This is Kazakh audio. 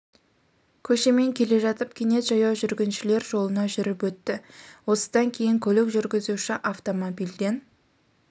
көшемен келе жатып кенет жаяу жүргіншілер жолына шығып жүріп өтті осыдан кейін көлік жүргізушісі автомобильден